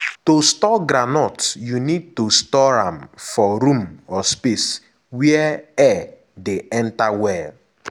to store groundnut you need store am for room or space wey air dey enter well.